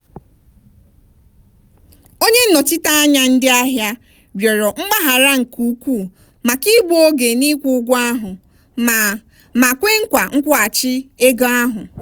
onye nnọchiteanya ndị ahịa rịọrọ mgbaghara nke ukwuu maka igbu oge n'ikwụ ụgwọ ahụ ma ma kwe nkwa nkwụghachi ego ahụ.